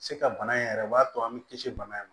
Se ka bana in yɛrɛ o b'a to an mi kisi bana in ma